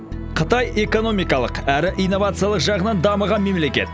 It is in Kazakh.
қытай экономикалық әрі инновациялық жағынан дамыған мемлекет